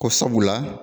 Ko sabula